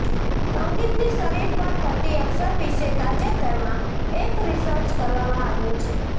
સંગીતની શરીર પર થતી અસર વિશે તાજેતરમાં એક રિસર્ચ કરવામાં આવ્યું છે